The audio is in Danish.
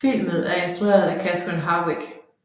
Filmen er instrueret af Catherine Hardwicke